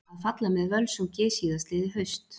Að falla með Völsungi síðastliðið haust.